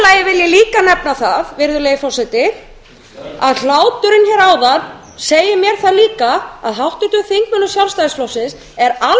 líka nefna það að hláturinn hér áðan segir mér það líka að háttvirtum þingmönnum sjálfstæðisflokksins er